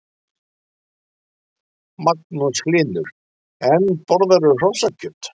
Magnús Hlynur: En borðarðu hrossakjöt?